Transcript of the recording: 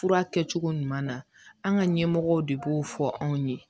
Fura kɛcogo ɲuman na an ka ɲɛmɔgɔw de b'o fɔ anw ye